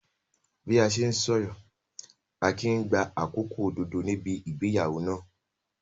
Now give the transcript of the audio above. Bí a ṣe ń sọ̀rọ̀, Akin ń gba àkókò òdodo níbi ìgbéyàwó náà.